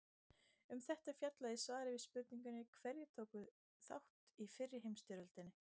Um þetta er fjallað í svari við spurningunni Hverjir tóku þátt í fyrri heimsstyrjöldinni?